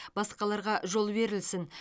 басқаларға жол берілсін